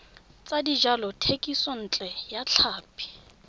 tsa dijalo thekisontle ya tlhapi